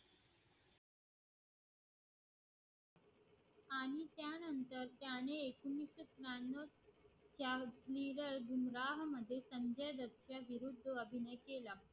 अभिनय केला